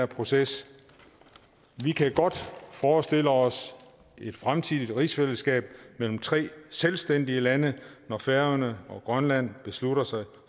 proces vi kan godt forestille os et fremtidigt rigsfællesskab mellem tre selvstændige lande når færøerne og grønland beslutter sig